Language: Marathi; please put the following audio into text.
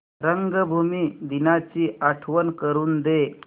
रंगभूमी दिनाची आठवण करून दे